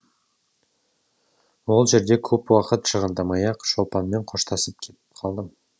ол жерде көп уақыт шығындамай ақ шолпанмен қоштасып кетіп қалдым